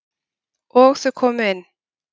Og þau komu inn.